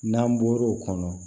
N'an bɔr'o kɔnɔ